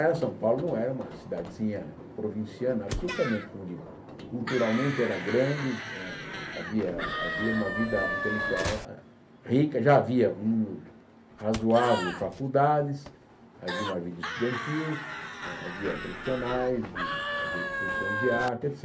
Era São Paulo não era uma cidadezinha provinciana absolutamente, como digo, culturalmente era grande, ah havia havia uma vida intelectual ah ah rica, já havia um número razoável de faculdades, havia uma vida estudantil, havia profissionais de havia exposições de arte et